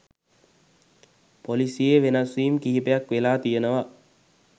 පොලිසියේ වෙනස් වීම් කිහිපයක් වෙලා තියෙනවා